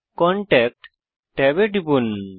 contact ট্যাবে টিপুন